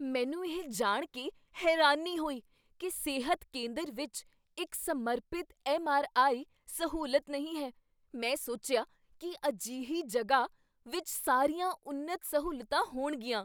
ਮੈਨੂੰ ਇਹ ਜਾਣ ਕੇ ਹੈਰਾਨੀ ਹੋਈ ਕੀ ਸਿਹਤ ਕੇਂਦਰ ਵਿੱਚ ਇੱਕ ਸਮਰਪਿਤ ਐੱਮ. ਆਰ. ਆਈ. ਸਹੂਲਤ ਨਹੀਂ ਹੈ। ਮੈਂ ਸੋਚਿਆ ਕੀ ਅਜਿਹੀ ਜਗ੍ਹਾ ਵਿੱਚ ਸਾਰੀਆਂ ਉੱਨਤ ਸਹੂਲਤਾਂ ਹੋਣਗੀਆਂ।